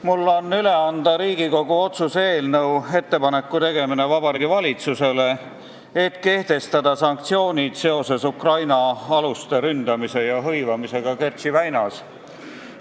Mul on üle anda Riigikogu otsuse "Ettepaneku tegemine Vabariigi Valitsusele" eelnõu, mis näeb ette, et kehtestataks sanktsioonid seoses Ukraina aluste ründamise ja hõivamisega Kertši väinas.